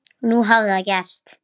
Nú hafði það gerst.